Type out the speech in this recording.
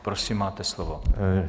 Prosím, máte slovo.